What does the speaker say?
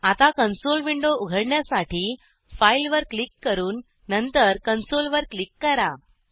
आता console window उघडण्यासाठी file वर क्लिक करून नंतर कन्सोल वर क्लिक करा